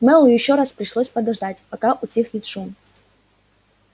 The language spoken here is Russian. мэллоу ещё раз пришлось подождать пока утихнет шум